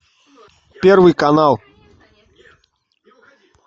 первый канал